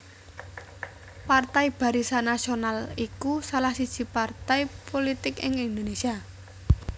Partai Barisan Nasional iku salah siji partai pulitik ing Indonésia